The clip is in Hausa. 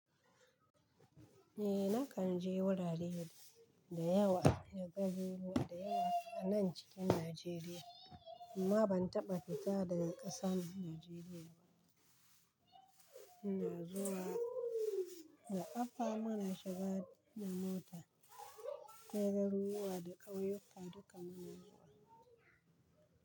Ni na kan je wurare da yawa, jahohi da yawa a nan cikin Najeriya amma ban taɓa fita daga ƙasar Najeriya ba. Muna zuwa da ƙafa, muna shiga da mota, ko garuruwa da ƙauyuka duka muna zuwa.